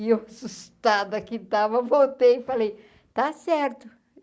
E eu, assustada que estava, voltei e falei, está certo.